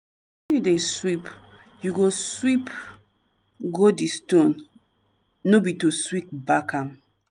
you dey sweep you go sweep go di stone no be to sweep back am.